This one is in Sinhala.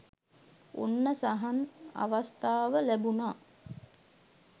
ඔන්න සහන් අවස්ථාව ලැබුණා